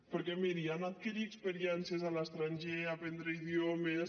perquè miri anar a adquirir experiències a l’estranger aprendre idiomes